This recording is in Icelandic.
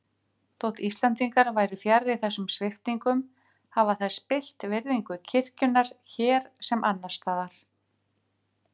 Þótt Íslendingar væru fjarri þessum sviptingum hafa þær spillt virðingu kirkjunnar hér sem annars staðar.